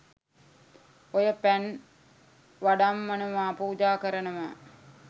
ඔය "පැන්" "වඩම්මනවා" "පුජා කරනවා"